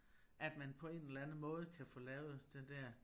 At man på en eller anden måde kan få lavet det der